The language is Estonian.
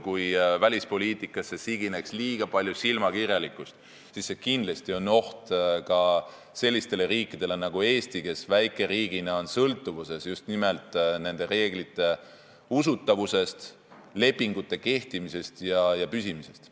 Kui välispoliitikasse sigineb liiga palju silmakirjalikkust, siis see on kindlasti oht ka sellistele riikidele nagu Eesti, kes väikeriigina on sõltuvuses just nimelt nende reeglite usutavusest, lepingute kehtimisest ja püsimisest.